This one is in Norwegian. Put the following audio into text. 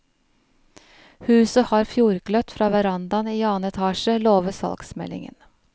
Huset har fjordgløtt fra verandaen i annen etasje, lover salgsmeldingen.